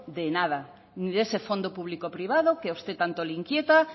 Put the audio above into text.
de nada ni de ese fondo público privado que a usted tanto le inquieta